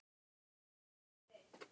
Er það ekki rétt?